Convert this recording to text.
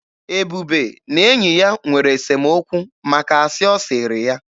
Ebube na enyi ya nwere esemokwu maka asị ọ sịrị ya.